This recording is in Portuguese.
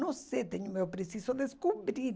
Não sei, preciso descobrir.